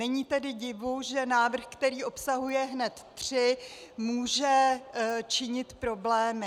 Není tedy divu, že návrh, který obsahuje hned tři, může činit problémy.